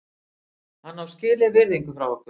Hann á skilið virðingu frá okkur.